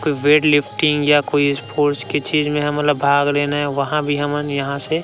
बेड़ lifting या कोई फाॅर्स के चीज में हमन ला भाग लेना हे वहाँ भी हमन यहाँ से --